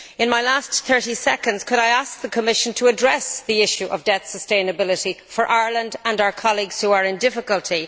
In my last 30 seconds, could I ask the Commission to address the issue of debt sustainability, for Ireland and our colleagues who are in difficulty?